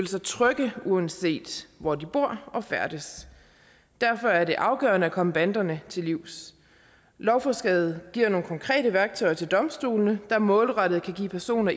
sig trygge uanset hvor de bor og færdes derfor er det afgørende at komme banderne til livs lovforslaget giver nogle konkrete værktøjer til domstolene der målrettet kan give personer